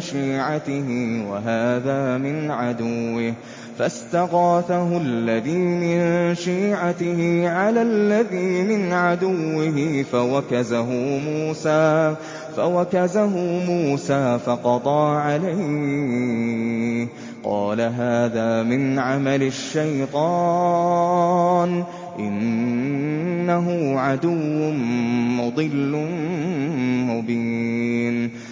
شِيعَتِهِ وَهَٰذَا مِنْ عَدُوِّهِ ۖ فَاسْتَغَاثَهُ الَّذِي مِن شِيعَتِهِ عَلَى الَّذِي مِنْ عَدُوِّهِ فَوَكَزَهُ مُوسَىٰ فَقَضَىٰ عَلَيْهِ ۖ قَالَ هَٰذَا مِنْ عَمَلِ الشَّيْطَانِ ۖ إِنَّهُ عَدُوٌّ مُّضِلٌّ مُّبِينٌ